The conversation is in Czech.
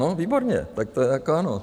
No, výborně, tak to je jako ano.